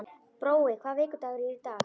Brói, hvaða vikudagur er í dag?